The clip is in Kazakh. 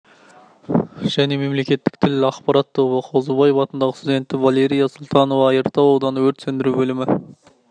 және мемлекеттік тіл және ақпарат тобы қозыбаев атындағы студенті валерия султанова айыртау ауданы өрт сөндіру бөлімі